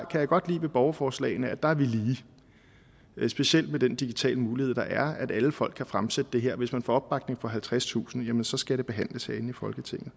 kan godt lide ved borgerforslagene at der er vi lige specielt med den digitale mulighed der er at alle folk kan fremsætte det her hvis man får opbakning fra halvtredstusind så skal det behandles herinde i folketinget